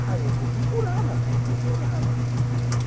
Ah, eu vou procurá-la, vou procurá-la.